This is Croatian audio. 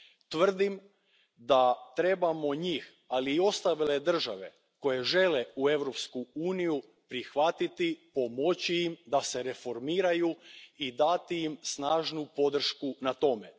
Tvrdim da trebamo njih, ali i ostale države koje žele u Europsku uniji, prihvatiti, pomoći im da se reformiraju i dati im snažnu podršku u tome.